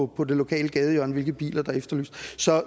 på det lokale gadehjørne hvilke biler der er efterlyst så